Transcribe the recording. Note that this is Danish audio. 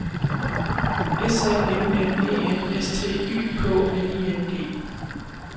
S A M M E N S T Y K N I N G